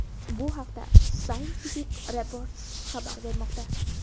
Bu haqda Scientific Reports xabar bermoqda .